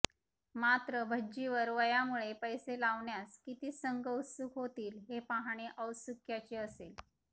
मात्र भज्जीवर वयामुळे पैसे लावण्यास किती संघ उत्सुक होतील हे पाहणे औत्सुक्याचे असेल